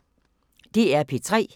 DR P3